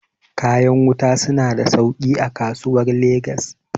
kayan wuta suna da sauki a kasuwar legas